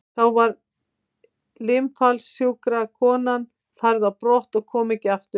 Þá var limafallssjúka konan færð á brott og kom ekki aftur.